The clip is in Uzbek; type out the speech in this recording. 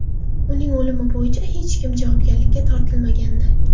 Uning o‘limi bo‘yicha hech kim javobgarlikka tortilmagandi.